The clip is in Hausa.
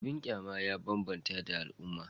Abin kyama ya bambanta da al'umma